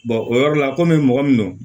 o yɔrɔ la kɔmi mɔgɔ min don